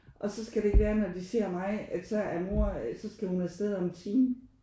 Og så skal det ikke være at når de ser mig at så er mor så skal hun afsted om en time